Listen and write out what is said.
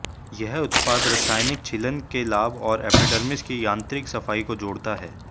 यह उत्पाद रासायनिक छीलन के लाभ और एपिडर्मिस की यांत्रिक सफाई को जोड़ता है